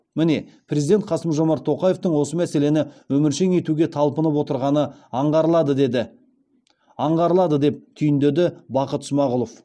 міне президент қасым жомарт тоқаевтың осы мәселені өміршең етуге талпынып отырғаны аңғарылады деп түйіндеді бақыт смағұлов